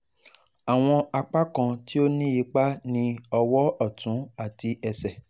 Awọn apakan ti o ni ipa ni ọwọ ọtun ati ẹsẹ